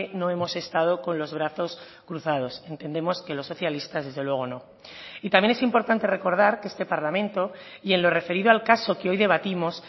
no hemos estado con los brazos cruzados entendemos que los socialistas desde luego no y también es importante recordar que este parlamento y en lo referido al caso que hoy debatimos